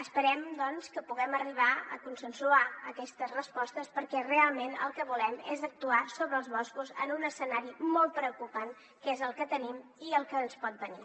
esperem doncs que puguem arribar a consensuar aquestes respostes perquè realment el que volem és actuar sobre els boscos en un escenari molt preocupant que és el que tenim i el que ens pot venir